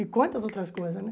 E quantas outras coisas, né?